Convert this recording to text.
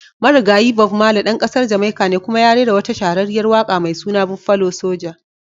Marigayi. Bob marley dan kasar Jamaica ne kuma ya rera wata shahararriyar waka mai suna "Buffalo soja"."